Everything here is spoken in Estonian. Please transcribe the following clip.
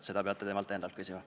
Seda peate temalt endalt küsima.